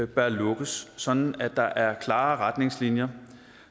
bør lukkes sådan at der er klare retningslinjer